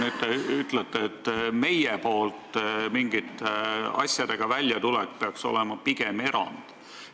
Te ütlesite, et meie poolt mingite sammude astumine peaks olema pigem erand.